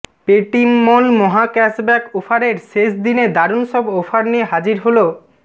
পেটিমমল মহাক্যাশব্যাক অফারের শেষ দিনে দারুন সব অফার নিয়ে হাজির হল